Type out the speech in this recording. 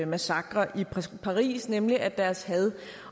massakre i paris nemlig at deres had